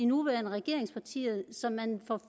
nuværende regeringspartier som man for